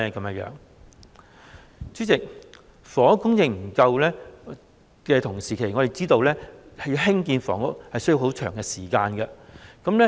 代理主席，就房屋供應不足問題，我們知道興建房屋需要長時間。